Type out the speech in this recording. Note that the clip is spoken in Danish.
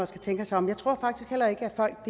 tænke sig om jeg tror faktisk heller ikke at folk